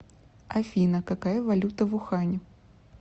афина какая валюта в ухане